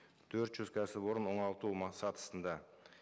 төрт жүз кәсіпорын оңалту сатысында